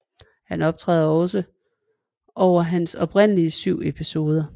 Han optræder også over hans oprindelige syv episoder